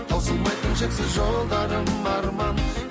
таусылмайтын шексіз жолдарым арман